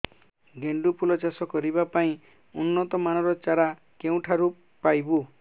ଗେଣ୍ଡୁ ଫୁଲ ଚାଷ କରିବା ପାଇଁ ଉନ୍ନତ ମାନର ଚାରା କେଉଁଠାରୁ ପାଇବୁ